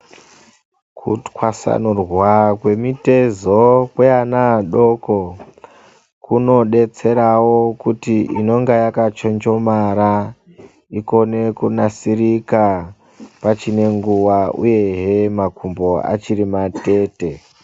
Kutwasanurwa kwemitezo kweana adoko kunodetserawo kuti inonga yakachonjomara ikone kunasirika pachiri nenguwa, uyehe makumbo achiri matete.